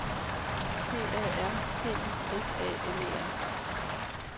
P A R T I S A N E R